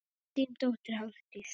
Þín dóttir Hafdís.